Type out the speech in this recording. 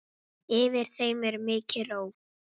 Yfir þeim er mikil ró.